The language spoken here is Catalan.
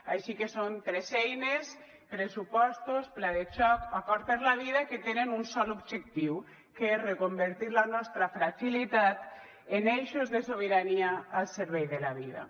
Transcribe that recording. així que són tres eines pressupostos pla de xoc acord per la vida que tenen un sol objectiu que és reconvertir la nostra fragilitat en eixos de sobirania al servei de la vida